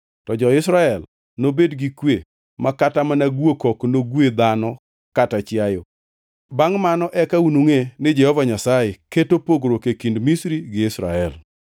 To jo-Israel nobed gi kwe ma kata mana guok ok nogwe dhano kata chiayo.’ Bangʼ mano eka unungʼe ni Jehova Nyasaye keto pogruok e kind Misri gi Israel.